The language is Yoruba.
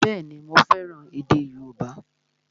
Bẹ́ẹ̀ni, mo fẹ́ràn èdè yóòbá